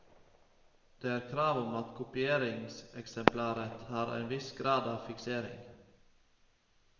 Det er et krav om at kopieringseksemplaret har en viss grad av fiksering.